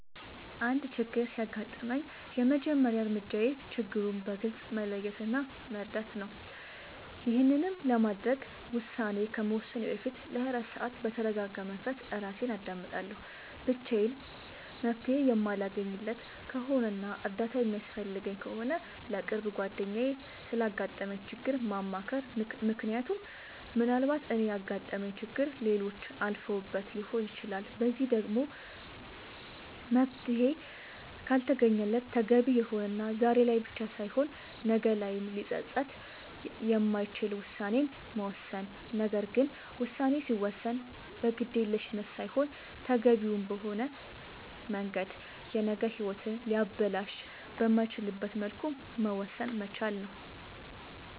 አንድ ችግር ሲያጋጥመኝ የመጀመሪያ እርምጃዬ ችግሩን በግልፅ መለየት እና መረዳት ነዉ ይሄንንም ለማድረግ ውሳኔ ከመወሰኔ በፊት ለ24 ሰዓት በተርጋጋ መንፈስ እራሴን አዳምጣለሁ ብቻዬን መፍትሄ የማለገኝለት ከሆነና እርዳታ የሚያስፈልገኝ ከሆነ ለቅርብ ጓደኛዬ ስላጋጠመኝ ችግር ማማከር ምክንያቱም ምናልባት እኔ ያጋጠመኝን ችግር ሌሎች አልፈውበት ሊሆን ይችላል በዚህም ደግሞ መፍትሄ ካልተገኘለት ተገቢ የሆነና ዛሬ ላይ ብቻ ሳይሆን ነገ ላይም ሊፀፅት የማይችል ውሳኔን መወሰን ነገር ግን ውሳኔ ሲወሰን በግዴለሽነት ሳይሆን ተገቢውን በሆነ መንገድ የነገ ሂወትን ሊያበላሽ በማይችልበት መልኩ መወሰን መቻል ነዉ